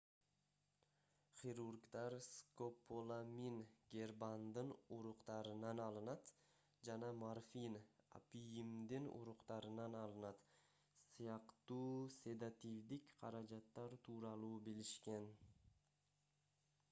хирургдар скополамин гербандын уруктарынан алынат жана морфин апийимдин уруктарынан алынат сыяктуу седативдик каражаттар тууралуу билишкен